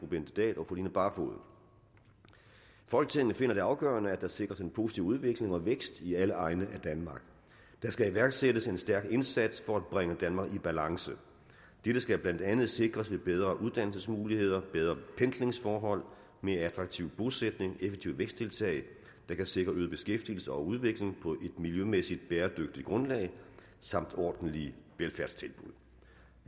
bente dahl og fru line barfod folketinget finder det afgørende at der sikres en positiv udvikling og vækst i alle egne af danmark der skal iværksættes en stærk indsats for at bringe danmark i balance dette skal blandt andet sikres ved bedre uddannelsesmuligheder bedre pendlingsforhold mere attraktiv bosætning effektive væksttiltag der kan sikre øget beskæftigelse og udvikling på et miljømæssigt bæredygtigt grundlag samt ordentlige velfærdstilbud